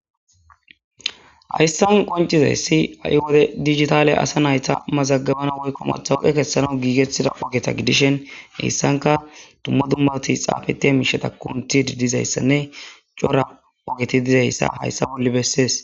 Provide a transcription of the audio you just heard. Haysan qoncizaysi ha7i wode asi nayta mazagabana woykko matawaqa kessanaw giigettidaysa gidishin haysanka dumma dumma miishshati xaafettishe de7izaysa cora ogeti haysa bolla bessees.